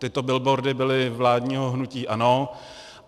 Tyto billboardy byly vládního hnutí ANO.